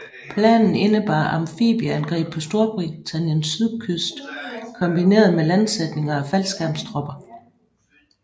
Planen indebar amfibieangreb på Storbritanniens sydkyst kombineret med landsætning af faldskærmstropper